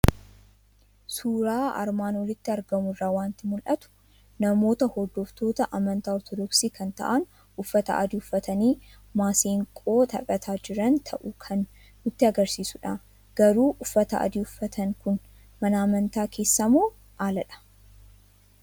Suuraa armaan olitti argamu irraa waanti mul'atu!; namoota hordoftoota amantaa ortoodoksii kan ta'an uffata adii uffatani maseenqoo taphataa jiran ta'uu kan nutti agarsiisudha. Garuu uffata adii uffatan kun mana amantaa keessamoo aladhaa?